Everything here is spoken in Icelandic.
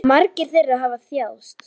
Margir þeirra hafa þjáðst.